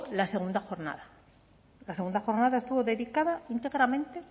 la segunda jornada la segunda jornada estuvo dedicada íntegramente